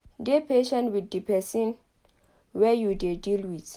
Dey patient with di person wey you dey deal with